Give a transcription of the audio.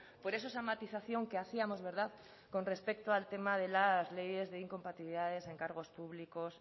por eso esa matización que hacíamos verdad con respecto al tema de las leyes de incompatibilidades en cargos públicos